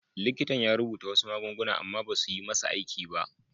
Likitan ya rubuta wasu magunguna amma basu yi masa aiki ba.